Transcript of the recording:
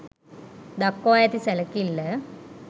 දක්වා ඇති සැලකිල්ල